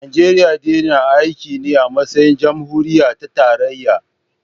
Najeriya dai na aiki ne a matsayin jamhuriya ta tarayya